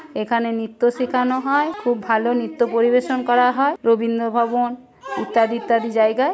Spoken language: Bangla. এখানে নৃত্য শেখান হয়। খুব ভালো নৃত্য পরিবেশন করা হয়। রবীন্দ্র ভবন ইত্যাদি ইত্যাদি জায়গায়।